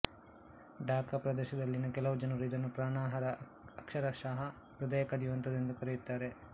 ಢಾಕಾ ಪ್ರದೇಶದಲ್ಲಿನ ಕೆಲವು ಜನರು ಇದನ್ನು ಪ್ರಾಣಹರ ಅಕ್ಷರಶಃ ಹೃದಯ ಕದಿಯುವಂಥದ್ದು ಎಂದು ಕರೆಯುತ್ತಾರೆ